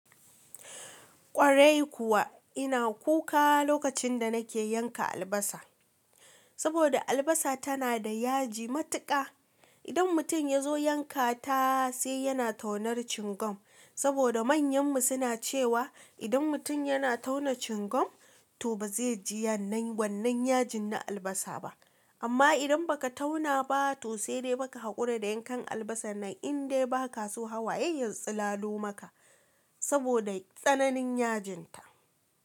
Ƙwarai kuwa ina kuka lokacin da nake yanka albasa, saboda albasa tana da yaji matuƙa. Idan mutum ya zo yanka ta sai yana taunar cingam, saboda manyan mu suna cewa idan mutum yana tauna cingam, to ba zai ji wannan wannan yajin na albasa ba. Amma idan ba ka tauna ba to sai dai fa ka haƙura da yankan albasa nan, in dai ba ka so hawaye ya silalo maka saboda tsananin yajinta.